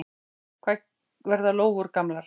Hvað verða lóur gamlar?